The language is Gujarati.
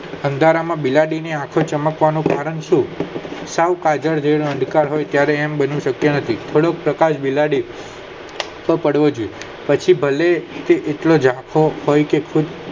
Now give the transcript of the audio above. અંધારામાં બિલાડી ની આખો ચમકવાનું કારણ શું સૌ કાજલ અંધકાર હોય તેવું બની શકતું નથી થોડો પ્રકાશ બિલાડી આંખ આ પડવો જોઈએ પછી ભલે એટલો ઝાંખો હોય કે ખુબ